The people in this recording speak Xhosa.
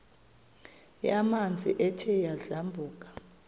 yamanzi ethe yadlabhuka